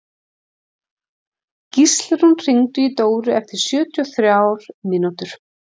Gíslrún, hringdu í Dóru eftir sjötíu og þrjár mínútur.